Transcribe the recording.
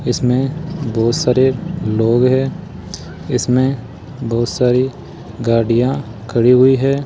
इसमें बहुत सारे लोग है इसमें बहुत सारी गाड़िगाड़ियां खड़ी हुई है।